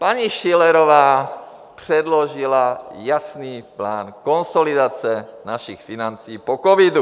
Paní Schillerová předložila jasný plán konsolidace našich financí po covidu.